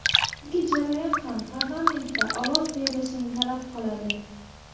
Ikki jarayon ham parlamentda ovoz berilishini talab qiladi.